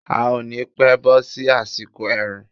A ò ni pẹ́ bọ́ sí àsìkò ẹ̀rùn.